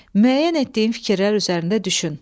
Müəyyən etdiyin fikirlər üzərində düşün.